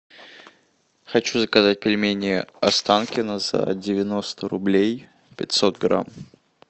хочу заказать пельмени останкино за девяносто рублей пятьсот грамм